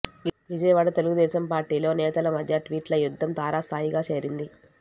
విజయవాడ తెలుగుదేశం పార్టీలో నేతల మధ్య ట్వీట్ల యుద్ధం తారస్థాయికి చేరింది